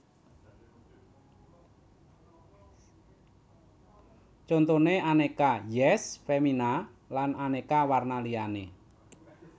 Contone Aneka Yess Femina lan aneka warna liyane